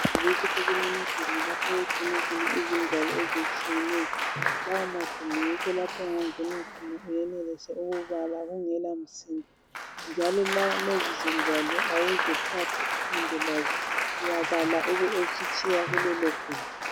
Eyunivesithi kulamagumbi lapho okugcinwa khona izingwalo ezitshiyeneyo . Lawo magumbi yikho lapho ongangena khona uyenelise ukubala kungelamsindo njalo lezi zingwalo awuzithathi uhambe lazo uyabala ube usutshiya kulelo gumbi.